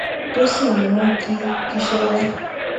tó sì n mú kí kíṣẹ yá